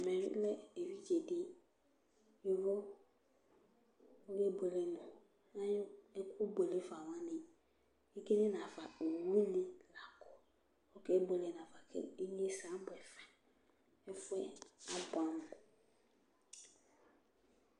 ɛmɛ lɛ evidze di yovo oke bueke no ɛkò buele fa wani ekel nafa owu ni la kò ɔke buele nafa k'inyese abuɛ fa ɛfu yɛ aboɛ amo